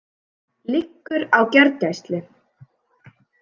Liggur á gjörgæslu